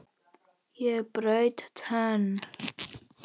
Ég braut tönn!